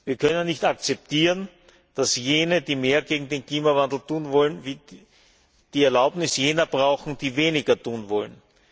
Wir können nicht akzeptieren, dass jene, die mehr gegen den Klimawandel tun wollen, die Erlaubnis derer brauchen, die weniger tun wollen.